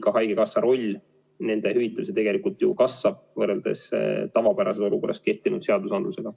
Ka haigekassa roll nende hüvitamisel tegelikult kasvab, võrreldes tavapärases olukorras kehtinud seadustega.